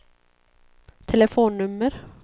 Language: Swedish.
telefonnummer